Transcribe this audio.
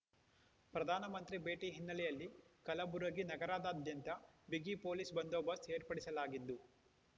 ಪ್ರಧಾನ ಮಂತ್ರಿ ಭೇಟಿ ಹಿನ್ನೆಲೆಯಲ್ಲಿ ಕಲಬುರಗಿ ನಗರದಾದ್ಯಂತ ಬಿಗಿ ಪೊಲೀಸ್ ಬಂದೊಬಸ್ತ್ ಏರ್ಪಡಿಸಲಾಗಿದ್ದು